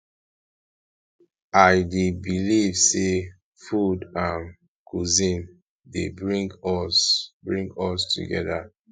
i dey believe say food and cuisine dey bring us dey bring us together